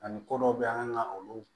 Ani ko dɔw bɛ yen an kan ka olu